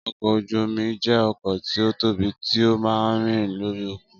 Ọkọ̀ ojú omi jẹ́ ọkọ̀ tí ó tóbi tí ó máa ń rìn lórí òkun